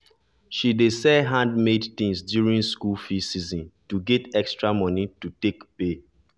she dey sell handmade things during school fee season to get extra money to take pay